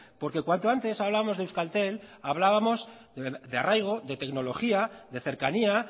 porque cuanto antes hablamos de euskaltel hablábamos de arraigo de tecnología de cercanía